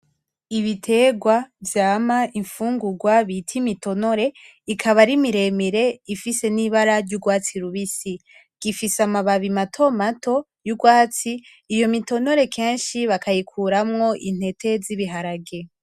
Ibiterwa vyama imfungurwa bita imitonore, ikaba ari miremire ifise n'ibara ry'urwatsi rubisi. Gifise amababi mato mato y'urwatsi, iyo mitonore kenshi bakayikuramwo intete z'ibiharage.